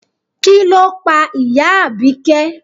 Kí ló pa ìyá Abike?